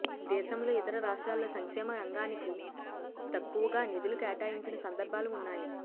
దేశంలో ఇతర రాష్ట్రాల్లో సంక్షేమ రంగానికి తక్కువగా నిధులు కేటాయించిన సందర్భాలు ఉన్నాయి